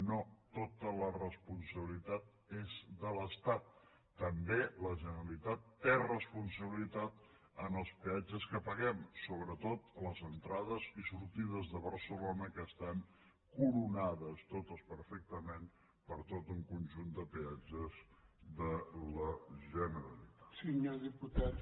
no tota la responsabilitat és de l’estat també la generalitat té responsabilitat en els peatges que paguem sobretot a les entrades i sortides de barcelona que estan coronades totes perfectament per tot un conjunt de peatges de la generalitat